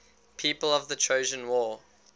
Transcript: people of the trojan war